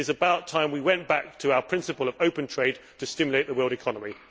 It is about time we went back to our principle of open trade to stimulate the world economy.